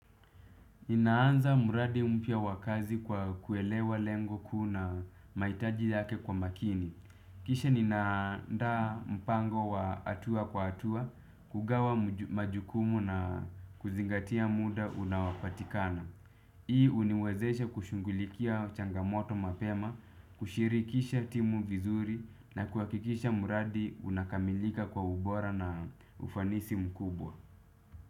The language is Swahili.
Ninaanza mradi mpya wa kazi kwa kuelewa lengo kuna mahitaji yake kwa makini. Kisha ninaandaa mpango wa hatua kwa hatua, kugawa majukumu na kuzingatia muda unaopatikana. Hii huniwezesha kushughulikia changamoto mapema, kushirikisha timu vizuri na kuhakikisha mradi unakamilika kwa ubora na ufanisi mkubwa.